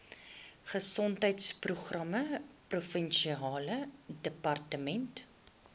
gesondheidsprogramme provinsiale departement